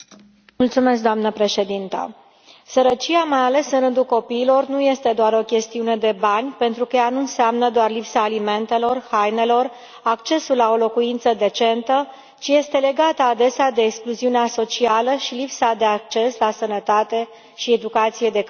Doamnă președintă, sărăcia, mai ales în rândul copiilor, nu este doar o chestiune de bani pentru că ea nu înseamnă doar lipsa alimentelor, hainelor, a accesului la o locuință decentă, ci este legată adesea de excluziunea socială și lipsa de acces la sănătate și educație de calitate.